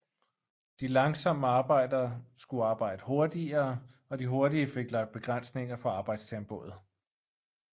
De langsomme arbejdere skulle arbejde hurtigere og de hurtige fik lagt begrænsninger på arbejdstempoet